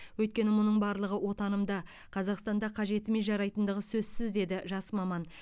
өйткені мұның барлығы отанымда қазақстанда қажетіме жарайтындығы сөзсіз деді жас маман